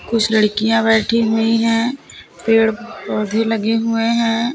कुछ लड़कियां बैठी हुई हैं पेड़ पौधे लगे हुए हैं।